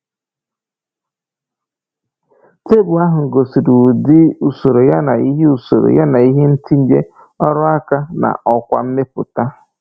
Tebụl ahụ gosiri ụdị usoro yana ihe usoro yana ihe ntinye, ọrụ aka, na ọkwa mmepụta.